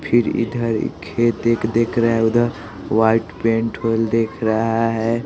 फिर इधर खेत एक देख रहा है उधर व्हाइट पेंट खोल देख रहा है।